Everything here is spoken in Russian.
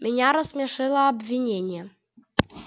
меня рассмешило обвинение а не ваши трудности